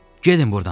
Gedin burdan.